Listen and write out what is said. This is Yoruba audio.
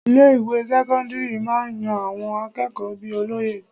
Ilé ìwé sẹ́kọ́ńdírì máa ń yan àwọn akẹ́kọ̀ọ́ bíi olóye.